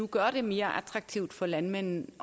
gør det mere attraktivt for landmændene